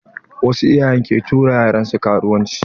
Wasu iyayen ke tura yaran su karuwanci.